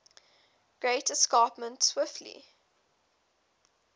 great escarpment swiftly